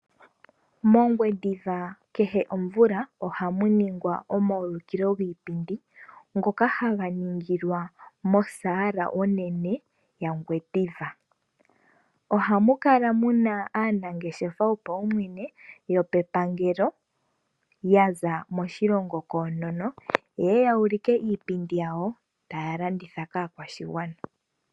MOngwediva kehe omvula ohamu ningwa omaulikilo giipindi ngoka haga ningilwa mosaala onene yaNgwediva. Ohamu kala muna aanangeshefa yopaumwene, yopepangelo ya za moshilongo koonono. Yeye ya ulike iipindi yawo taya landitha kaakwashigwana.